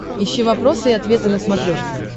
ищи вопросы и ответы на смотрешке